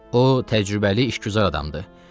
O, təcrübəli işgüzar adamdır.